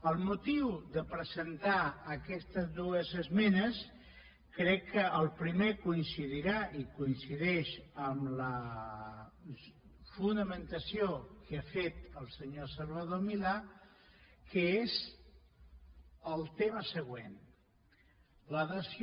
el motiu de presentar aquestes dues esmenes crec que el primer coincidirà i coincideix amb la fonamentació que ha fet el senyor salvador milà que és el tema següent la dació